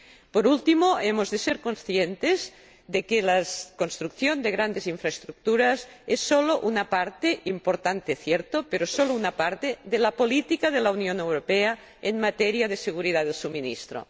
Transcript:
Por último, hemos de ser conscientes de que la construcción de grandes infraestructuras es sólo una parte —importante, cierto, pero sólo una parte— de la política de la Unión Europea en materia de seguridad del suministro.